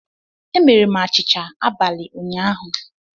Emere m achịcha abalị ụnyaahụ